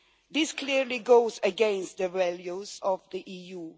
This clearly goes against the values of the EU.